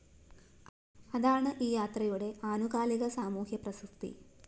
അതാണ് ഈ യാത്രയുടെ ആനുകാലിക സാമൂഹ്യ പ്രസക്തി